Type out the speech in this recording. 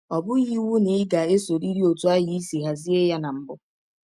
Ọ bụghị iwụ na ị ga - esọrịrị ọtụ ahụ i si hazie ya na mbụ.